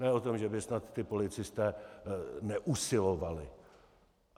Ne o tom, že by snad ti policisté neusilovali.